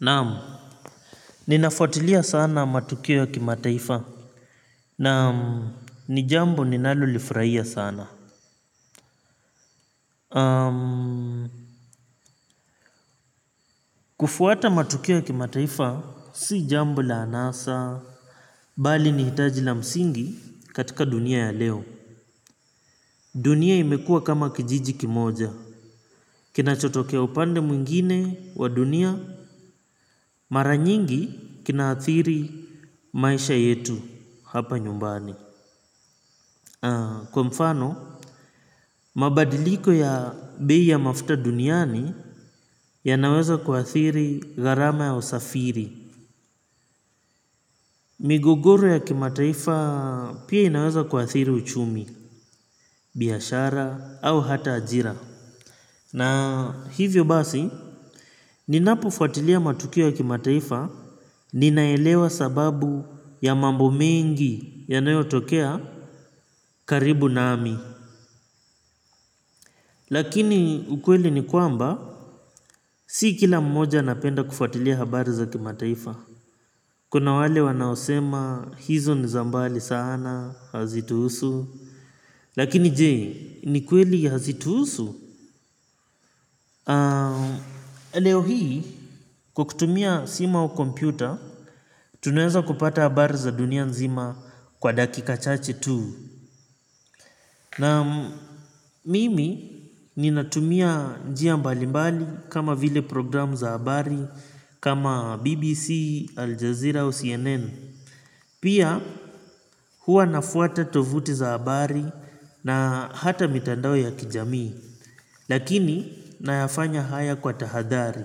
Naamu. Ninafuatilia sana matukio ya kimataifa. Naamu, ni jambo ninalo lifurahia sana. Aamu, kufuata matukio ya kimataifa, si jambo la anasa. Bali nihitaji la msingi katika dunia ya leo. Dunia imekuwa kama kijiji kimoja. Kinachotokea upande mwingine wa dunia. Maranyingi, kinaathiri maisha yetu, hapa nyumbani. Aam, kwa mfano. Mabadiliko ya bei ya mafuta duniani. Yanaweza kuathiri gharama ya usafiri. Migogoro ya kimataifa pia yanaweza kuathiri uchumi. Biashara au hata ajira. Na hivyo basi. Ninapofuatilia matukio ya kimataifa. Ninaelewa sababu ya mambo mengi yanayo tokea karibu nami. Lakini ukweli ni kwamba si kila mmoja napenda kufuatilia habari za kimataifa. Kuna wale wanaosema hizo ni za mbali sana, hazituhusu. Lakini je, ni kweli hazituhusu. Leo hii, kwa kutumia simu au kompyuta. Tunaweza kupata habari za dunia nzima kwa dakika chache tu. Na mimi, ninatumia njia mbalimbali kama vile programu za habari Kama BBC, Aljazeera au CNN. Pia huwa nafuata tovuti za habari na hata mitandao ya kijamii. Lakini nayafanya haya kwa tahadhari.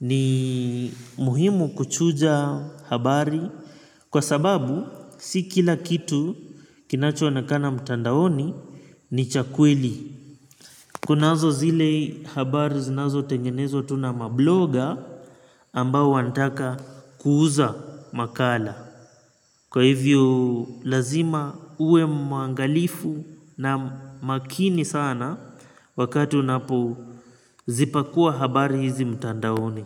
Ni muhimu kuchuja habari. Kwa sababu si kila kitu kinacho onekana mitandaoni ni cha kweli. Kunazo zile habari zinazo tengenezwa tuna mabloga ambao wanitaka kuuza makala. Kwa hivyo lazima uwe mwangalifu na makini sana wakati unapu zipakua habari hizi mtandaoni.